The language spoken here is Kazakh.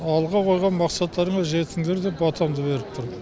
алға қойған мақсаттарыңа жетіңдер деп батамды беріп тұрмын